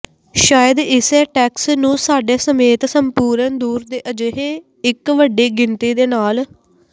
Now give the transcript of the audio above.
ਸ਼ਾਇਦ ਇਸੇ ਟੈਕਸ ਨੂੰ ਸਾਡੇ ਸਮੇਤ ਸੰਪੂਰਣ ਦੂਰ ਦੇ ਅਜਿਹੇ ਇੱਕ ਵੱਡੀ ਗਿਣਤੀ ਦੇ ਨਾਲ